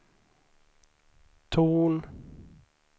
ton